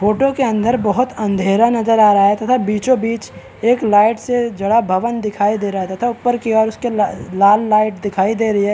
Photo के अंदर बहुत अँधेरा नजर आ रहा है तथा बीचो-बीच एक लाइट से जड़ा भवन दिखाई दे रहा है तथा उपर की ओर इसके लाल लाइट दिखाई दे रही है।